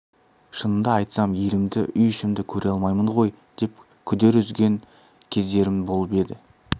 шынымды айтсам елімді үй ішімді көре алмаймын ғой деп күдер үзген кездерім болып еді